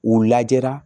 U lajɛra